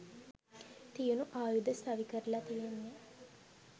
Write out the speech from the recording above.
තියුණු ආයුධ සවිකරල තියෙන්නෙ..